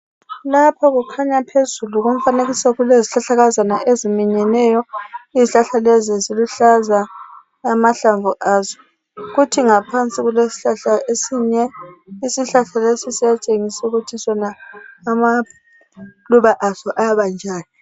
Lapho kukhanya phezulu komfanekiso kulezihlakazana eziminyeneyo. Izihlahla lezo ziluhlaza amahlamvu azo .Kuthi ngaphansi kulesihlahla esinye. Isihlahla lesi siyatshengisa ukuthi sona amaluba aso ayabanjani